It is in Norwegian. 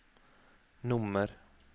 nummer